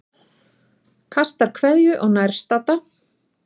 Kastar kveðju á nærstadda.